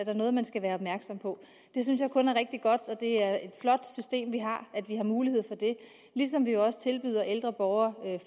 er noget man skal være opmærksom på det synes jeg kun er rigtig godt og det er et flot system vi har at vi har mulighed for det ligesom vi jo også tilbyder ældre borgere